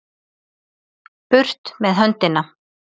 Burt með höndina!